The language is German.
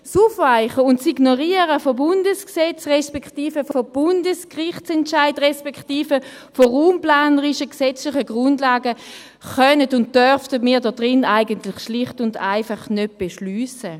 Das Aufweichen und Ignorieren von Bundesgesetzen respektive von Bundesgerichtsentscheiden respektive von raumplanerischen, gesetzlichen Grundlagen können und dürfen wir hier in diesem Saal eigentlich schlicht und einfach nicht beschliessen.